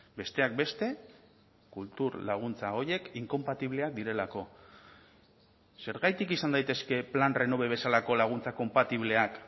besteak beste kultur laguntza horiek inkonpatibleak direlako zergatik izan daitezke plan renove bezalako laguntza konpatibleak